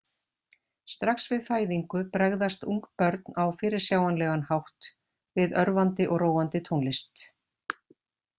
Strax við fæðingu bregðast ungbörn á fyrirsjáanlegan hátt við örvandi og róandi tónlist.